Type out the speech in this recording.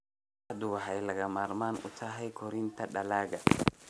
Qorraxdu waxay lagama maarmaan u tahay koritaanka dalagga.